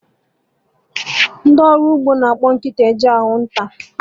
Ndị ọrụ ugbo na-akpọ nkịta eje ịchụ nta